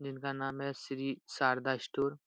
जिनका नाम है श्री शारदा स्टोर --